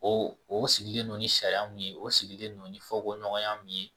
O o sigilen no ni sariya min ye o sigilen don ni fɔko ɲɔgɔnya min ye